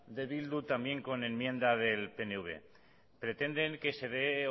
de eh bildu también con enmienda del pnv pretenden que se dé